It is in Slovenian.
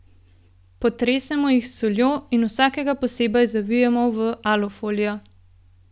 Potresemo jih s soljo in vsakega posebej zavijemo v alufolijo.